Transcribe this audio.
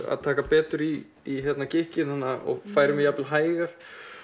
að taka betur í í gikkinn og færi mig jafnvel hægar